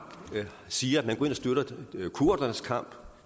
siger at man går ind og støtter kurdernes kamp